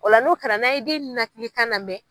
Ola n'o kɛra n'a ye den nenakilikan lamɛn.